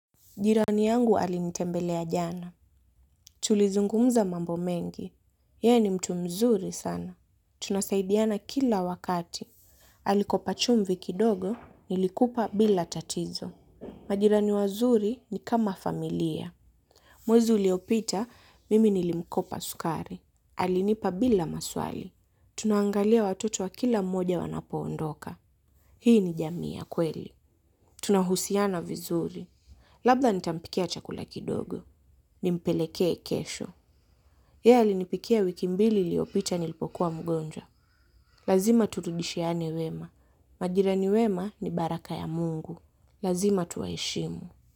Jirani yangu alinitembelea jana. Tulizungumza mambo mengi. Ye ni mtu mzuri sana. Tunasaidiana kila wakati. Alikopa chumvi kidogo, nilikupa bila tatizo. Majirani wazuri ni kama familia. Mwezi uliopita, mimi nilimkopa sukari. Alinipa bila maswali. Tunaangalia watoto wa kila mmoja wanapoondoka. Hii ni jamii ya kweli. Tunahusiana vizuri. Labda nitampikia chakula kidogo. Nimpelekee kesho. Yeye alinipikia wiki mbili iliopita nilipokuwa mgonjwa. Lazima turudishiane wema. Majirani wema ni baraka ya Mungu. Lazima tuwaheshimu.